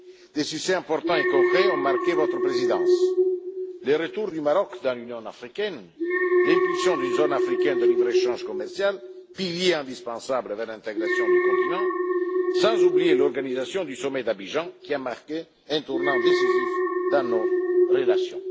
Des succès importants et concrets ont marqué votre présidence le retour du Maroc dans l'Union africaine, l'impulsion pour la création d'une zone africaine de libre échange commercial, pilier indispensable vers l'intégration du continent, sans oublier l'organisation du sommet d'Abidjan, qui a marqué un tournant décisif dans nos relations.